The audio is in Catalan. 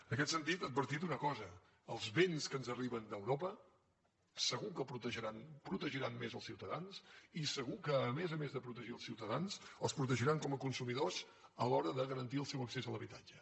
en aquest sentit advertir una cosa els vents que ens arriben d’europa segur que protegiran més els ciutadans i segur que a més a més de protegir els ciutadans els protegiran com a consumidors a l’hora de garantir el seu accés a l’habitatge